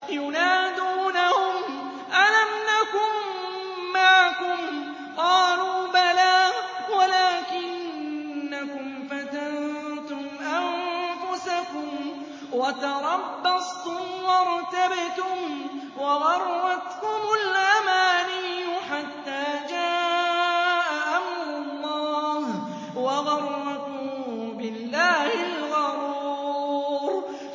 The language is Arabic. يُنَادُونَهُمْ أَلَمْ نَكُن مَّعَكُمْ ۖ قَالُوا بَلَىٰ وَلَٰكِنَّكُمْ فَتَنتُمْ أَنفُسَكُمْ وَتَرَبَّصْتُمْ وَارْتَبْتُمْ وَغَرَّتْكُمُ الْأَمَانِيُّ حَتَّىٰ جَاءَ أَمْرُ اللَّهِ وَغَرَّكُم بِاللَّهِ الْغَرُورُ